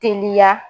Teliya